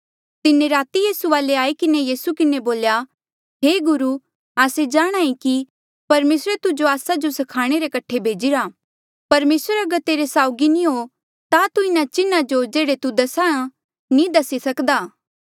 तिन्हें राती यीसू वाले आई किन्हें यीसू किन्हें बोल्या हे गुरु आस्से जाणहां ऐें कि परमेसरे तुजो आस्सा जो स्खाणे रे कठे भेजीरा परमेसर अगर तेरे साउगी नी हो ता तू इन्हा चिन्हा जो जेह्ड़े तू दसा नी दसी सक्दा था